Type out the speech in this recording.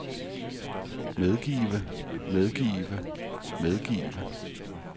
medgive medgive medgive